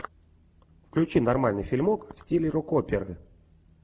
включи нормальный фильмок в стиле рок оперы